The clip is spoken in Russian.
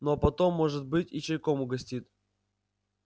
ну а потом может быть и чайком угостит